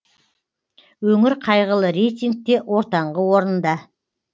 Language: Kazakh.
өңір қайғылы рейтингте ортаңғы орында